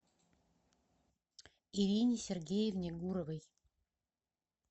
ирине сергеевне гуровой